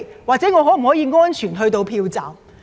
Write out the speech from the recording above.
或者能否安全到達投票站？